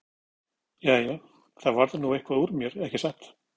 Jæja, það varð nú eitthvað úr mér, ekki satt?